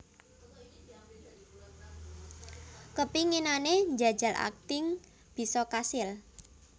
Kepinginane njajal akting bisa kasil